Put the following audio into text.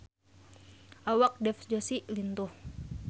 Awak Dev Joshi lintuh